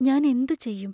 ഞാനെന്തു ചെയ്യും?